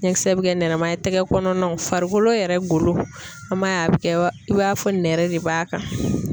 Ɲɛkisɛ bɛ kɛ nɛrɛma ye, tɛgɛ kɔnɔnaw, farikolo yɛrɛ golo, an b'a ye a bɛ kɛ i b'a fɔ nɛrɛ de b'a kan.